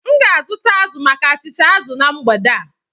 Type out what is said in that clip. M ga-azụta azụ maka achịcha azụ na mgbede a